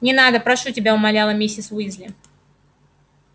не надо прошу тебя умоляла миссис уизли